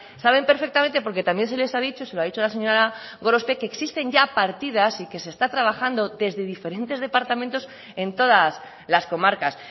saben perfectamente porque también se les ha dicho se lo ha dicho la señora gorospe que existen ya partidas y que se está trabajando desde diferentes departamentos en todas las comarcas